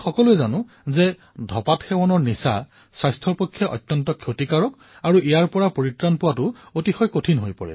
আমি সকলোৱে জানো যে ধঁপাতৰ নিচা স্বাস্থ্যৰ বাবে অতিশয় অপকাৰী আৰু ইয়াৰ অভ্যাস পৰিত্যাগ কৰাটোও কঠিন